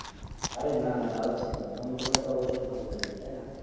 আরে না না জালাছ কেন ফোন করলে তো অবশ্যই ভালো লাগবে তাই না?